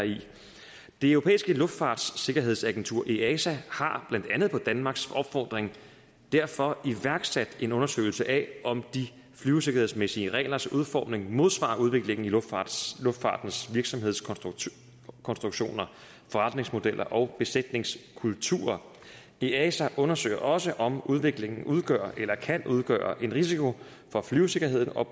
det europæiske luftfartssikkerhedsagentur easa har blandt andet på danmarks opfordring derfor iværksat en undersøgelse af om de flyvesikkerhedsmæssige reglers udformning modsvarer udviklingen i luftfartens luftfartens virksomhedskonstruktioner forretningsmodeller og besætningskulturer easa undersøger også om udviklingen udgør eller kan udgøre en risiko for flyvesikkerheden og